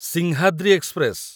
Simhadri express